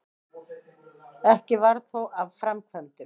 Ekki varð þó af framkvæmdum.